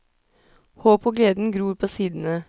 Håpet og gleden gror på sidene.